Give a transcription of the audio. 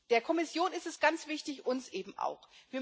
Der Kommission ist es ganz wichtig, uns eben auch.